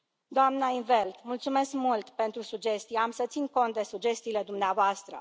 Doamnă, in't Veld, mulțumesc mult pentru sugestii, voi ține cont de sugestiile dumneavoastră.